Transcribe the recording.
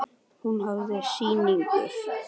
Hún hafði sigur.